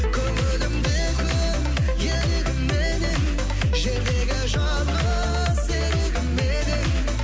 көңілімде күн елігім менің жердегі жалғыз серігім едің